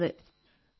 phone call അവസാനിച്ചു